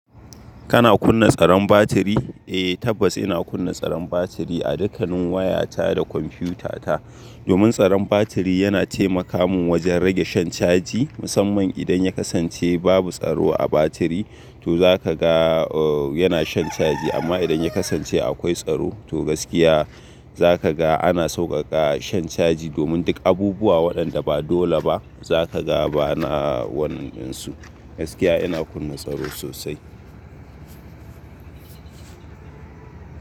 Kana kunna tsaron batiri? Eh tabbas ina kunna tsaron batiri a dukkanin waya ta da kwamfiyuta ta. Domin tsaron batiri yana taimaka min wajen rage shan caji. Musamman idan ya kasance babu tsaro a batiri to zaka ga yana shan caji amma idan ya kasance akwai tsaro to gaskiya zaka ga ana sauƙaƙa shan caji. Domin duk abubuwa waɗanda ba dole ba zaka ga bana wannan dinsu. Gaskiya ina kunna tsaro sosai.